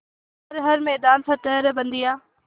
कर हर मैदान फ़तेह रे बंदेया